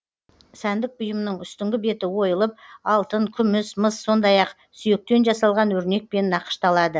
сәндік бұйымның үстіңгі беті ойылып алтын күміс мыс сондай ақ сүйектен жасалған өрнекпен нақышталады